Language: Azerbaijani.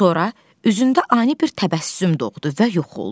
Sonra üzündə ani bir təbəssüm doğdu və yox oldu.